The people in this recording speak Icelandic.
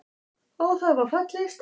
Á það var fallist.